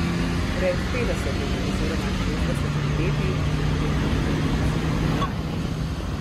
Pred petdesetimi oziroma šestdesetimi leti so bili naši odnosi kolonialni.